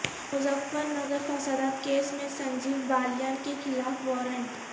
مظفرنگر فسادات کیس میں سنجیو بالیان کے خلاف وارنٹ